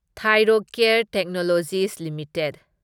Thyrocare Technologies limited